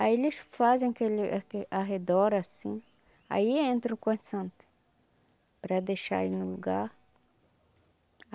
Aí eles fazem aquele aquele arredor assim, aí entra o Corte Santo, para deixar ele no lugar.